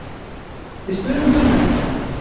Við spurðum Gunnar út í hana?